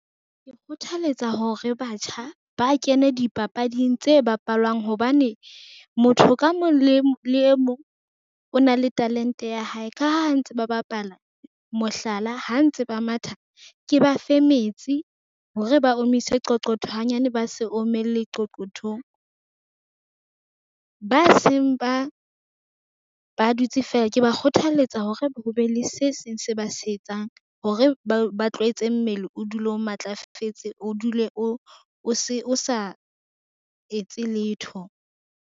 Ke kgothaletsa hore batjha ba kene dipapading tse bapalwang hobane, motho ka mong le e mong o na le talente ya hae ka ha ntse ba bapala, mohlala ha ntse ba matha ke ba fe metsi hore ba omise qoqotho hanyane, ba se omelle qoqothong. Ba seng ba dutse feela, ke ba kgothaletsa hore ho be le se seng se ba se etsang hore ba tlwaetse mmele o dule o matlafetse, o dule o sa etse letho.